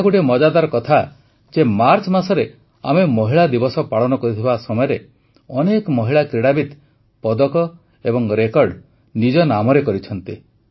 ଏହା ଗୋଟିଏ ମଜାଦାର କଥା ଯେ ମାର୍ଚ୍ଚ ମାସରେ ଆମେ ମହିଳା ଦିବସ ପାଳନ କରୁଥିବା ସମୟରେ ଅନେକ ମହିଳା କ୍ରୀଡ଼ାବିତ୍ ପଦକ ଏବଂ ରେକର୍ଡ଼ ନିଜ ନାମରେ କରିଛନ୍ତି